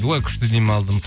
ой күшті демалдым